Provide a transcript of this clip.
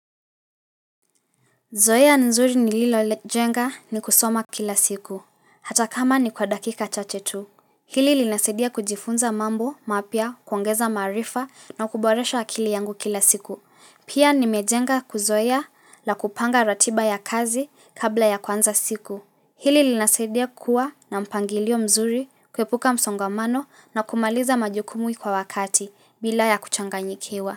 Zoea nzuri nililojenga ni kusoma kila siku, hata kama ni kwa dakika chache tu. Hili linasidia kujifunza mambo, mapya, kuongeza maarifa na kuboresha akili yangu kila siku. Pia nimejenga kuzoea la kupanga ratiba ya kazi kabla ya kwanza siku. Hili linasidia kuwa na mpangilio mzuri, kuepuka msongamano na kumaliza majukumu kwa wakati bila ya kuchanganyikiwa.